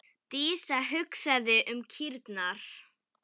Dísa hugsaði um kýrnar.